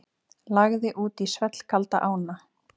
Lagði út í svellkalda ána